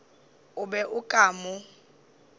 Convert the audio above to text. o be o ka mo